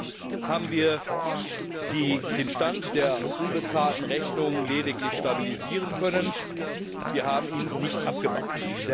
Bisher haben wir den Stand der unbezahlten Rechnungen lediglich stabilisieren können, wir haben ihn nicht abgebaut.